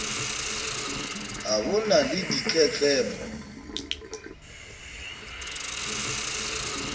ha ho na le ditletlebo